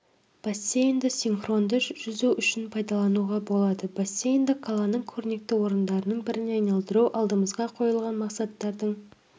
бассейнді синхронды жүзу үшін пайдалануға болады бассейнді қаланың көрнекті орындарының біріне айналдыру алдымызға қойылған мақсаттың